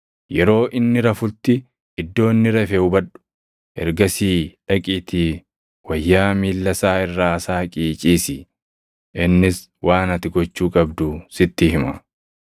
Yeroo inni rafutti iddoo inni rafe hubadhu. Ergasii dhaqiitii wayyaa miilla isaa irraa saaqii ciisi. Innis waan ati gochuu qabdu sitti hima.”